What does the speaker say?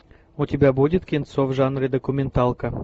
у тебя будет кинцо в жанре документалка